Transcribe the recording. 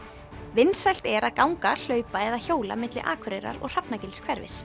vinsælt er að ganga hlaupa eða hjóla milli Akureyrar og